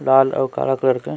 लाल अउ काला कलर के--